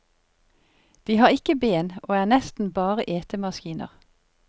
De har ikke ben og er nesten bare etemaskiner.